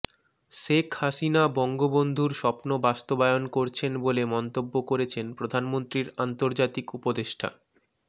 শেখ হাসিনা বঙ্গবন্ধুর স্বপ্ন বাস্তবায়ন করছেন বলে মন্তব্য করেছেন প্রধানমন্ত্রীর আন্তর্জাতিক উপদেষ্টা ড